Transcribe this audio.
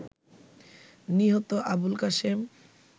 নিহত আবুলকাশেম